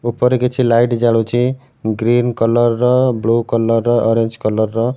ଉପରେ କିଛି ଲାଇଟ୍ ଜାଳୁଚି ଗ୍ରୀନ କଲର୍ ର ବ୍ଲୁ କଲର୍ ର ଅରେଞ୍ଜ କଲର୍ ର।